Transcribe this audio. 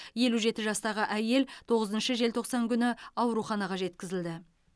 елу жеті жастағы әйел тоғызыншы желтоқсан күні ауруханаға жеткізілді